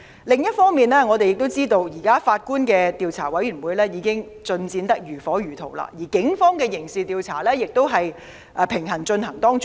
另一方面，我們也知道現時由法官領導的調查委員會的工作已進行得如火如荼，而警方的刑事調查亦平行地進行。